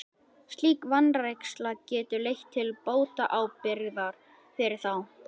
Slík vanræksla getur leitt til bótaábyrgðar fyrir þá.